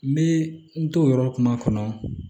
N bɛ n to o yɔrɔ kuma kɔnɔ